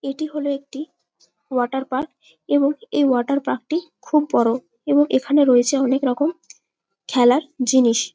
এটি হলো একটি ওয়াটার পার্ক এবং এই ওয়াটার পার্ক -টি খুব বড়ো এবং এখানে রয়েছে অনেক রকম খেলার জিনিস।